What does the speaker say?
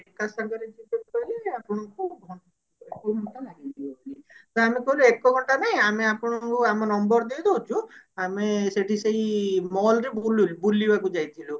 ଏକା ସାଙ୍ଗରେ ଯିବେ ତାହେଲେ ଆପଣଙ୍କୁ ଘଣ୍ଟେ ଲାଗିଯିବ ତ ଆମେ କହିଲୁ ଏକ ଘଣ୍ଟା ନାଇଁ ଆମେ ଆପଣଙ୍କୁ ଆମ number ଦେଇ ଦଉଛୁ ଆମେ ସେଠି ସେଇ mall ରେ ବୁଲିଲୁ ବୁଲିବାକୁ ଯାଇଥିଲୁ